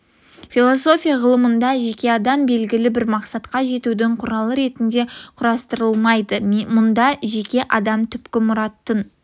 философия ғылымында жеке адам белгілі бір мақсатқа жетудің құралы ретінде қарастырылмайды мұнда жеке адам түпкі мұраттың